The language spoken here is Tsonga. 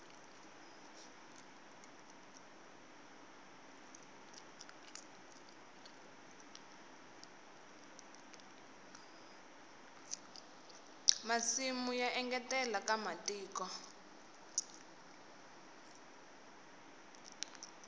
masimu ya engetela nkwama wa tiko